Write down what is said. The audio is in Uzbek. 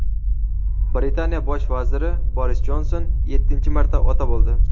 Britaniya Bosh vaziri Boris Jonson yettinchi marta ota bo‘ldi.